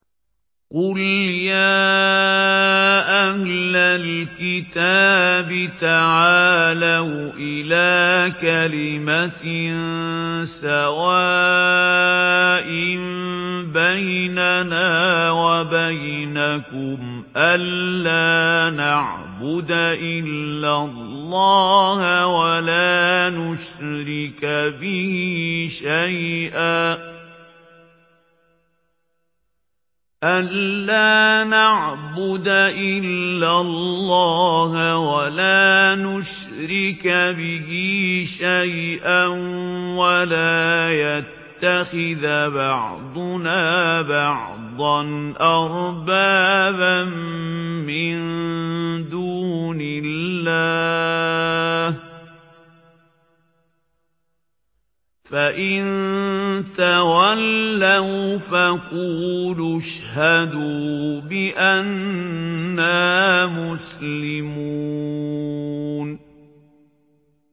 قُلْ يَا أَهْلَ الْكِتَابِ تَعَالَوْا إِلَىٰ كَلِمَةٍ سَوَاءٍ بَيْنَنَا وَبَيْنَكُمْ أَلَّا نَعْبُدَ إِلَّا اللَّهَ وَلَا نُشْرِكَ بِهِ شَيْئًا وَلَا يَتَّخِذَ بَعْضُنَا بَعْضًا أَرْبَابًا مِّن دُونِ اللَّهِ ۚ فَإِن تَوَلَّوْا فَقُولُوا اشْهَدُوا بِأَنَّا مُسْلِمُونَ